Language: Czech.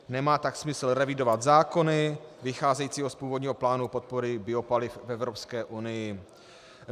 Nemá tak smysl revidovat zákony vycházející z původního plánu podpory biopaliv v Evropské unii."